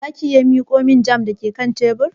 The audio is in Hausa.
Za ki iya miƙo min jam da ke kan tebur?